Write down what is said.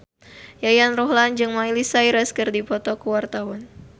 Yayan Ruhlan jeung Miley Cyrus keur dipoto ku wartawan